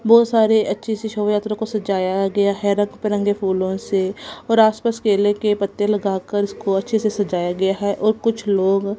बहोत सारे अच्छी सी शोभायात्रा को सजाया गया है रंग बिरंगे फूलों से और आस पास केले के पत्ते लगाकर उसको अच्छे से सजाया गया है और कुछ लोग--